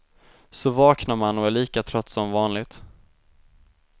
Så vaknar man och är lika trött som vanligt.